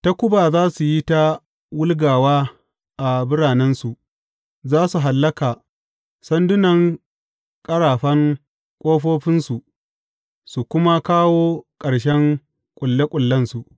Takuba za su yi ta wulgawa a biranensu, za su hallaka sandunan ƙarafan ƙofofinsu su kuma kawo ƙarshen ƙulle ƙullensu.